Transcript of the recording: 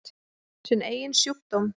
Sinn eigin sjúkdóm.